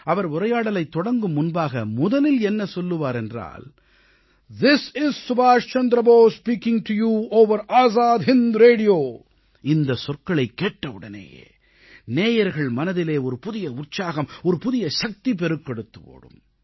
அவர் உரையாடலைத் தொடங்கும் முன்பாக முதலில் என்ன சொல்லுவார் என்றால் திஸ் இஸ் சுபாஷ் Chandra Bose speaking to you over the Azad Hind radio இந்தச் சொற்களைக் கேட்டவுடனேயே நேயர்கள் மனதிலே ஒரு புதிய உற்சாகம் ஒரு புதிய சக்தி பெருக்கெடுத்து ஓடும்